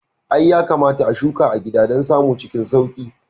I, yakamata a shuka a gida don samun cikin sauƙi